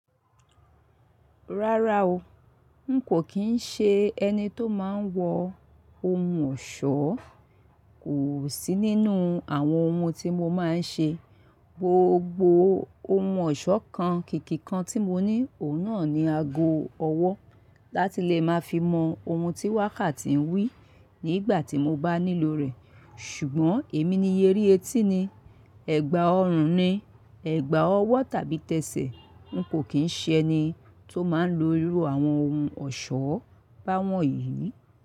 Rárá o, n kò kín ṣe ẹni tó máa ń wọ ohun ọ̀ṣọ́, o sí nínú àwọn ohun tí mo máa ń ṣe, gbogbo ohun ọ̀ṣọ́ kan, kìkì kan tí mo ní, òun náà ni ago ọwọ́ láti lè máa fi mọ ohun tí wákàtí ń wí nígbà tí mo bá nílò rẹ̀. Ṣùgbọ́n èmi ni yé rí etí ni, ẹ̀gbà ọrùn ni, ẹ̀gbà ọwọ́ tàbí tẹsẹ̀, n kò kín ṣe ẹni tó máa ń lo irú àwọn ohun ọ̀ṣọ́ báwọn yìí.